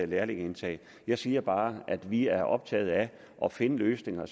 lærlingeindtag jeg siger bare at vi er optaget af at finde løsninger